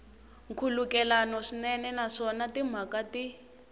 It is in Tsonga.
nkhulukelano swinene naswona timhaka ti